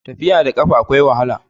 tafiya da kafa akwai wahala